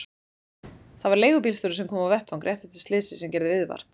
Það var leigubílstjóri sem kom á vettvang rétt eftir slysið sem gerði viðvart.